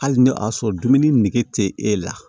Hali n'a y'a sɔrɔ dumuni nege tɛ e la